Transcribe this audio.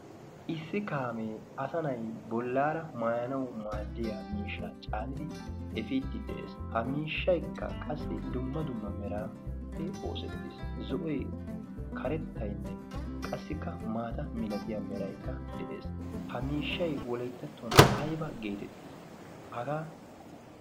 issi kaamee asanai bollaara maayanau maaddiya miishsha caanidi efiiddi de7ees. ha miishshaikka qassi dumma dumma meraappe oosettiis zo7oi karettainne qassikka maata milatiya meraikka de7ees. ha miishshai woliittattuwan aiba geetettii? hagaa